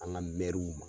An ka mɛriw